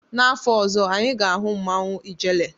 N'afọ ọzọ, anyị ga-ahụ mmanwụ ijele.